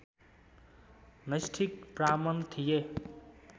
नैष्ठिक ब्राह्मण थिए